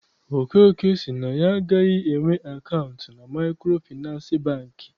Okeke sị na ya agaghị enwe akaụntụ na Maịkrofịnansị Bankị.